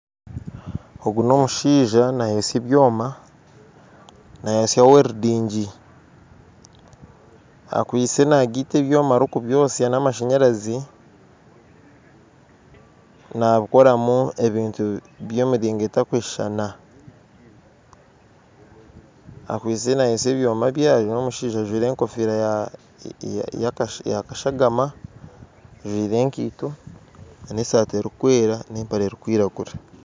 Ogu n'omushaija nayootsya ebyoma akwitsye nagaita ebyoma ari kubyosya n'amashanyarazi nabikoramu ebintu by'emiringo etarikushuushana akwitsye nayootsya ebyoma bye ari n'omushaija ajwire egofiira yakashagama ekaito n'esaati erikwera n'empare erikwiragura